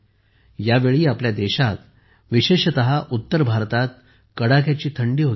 यावेळी आपल्या देशात विशेषतः उत्तर भारतात कडाक्याची थंडी होती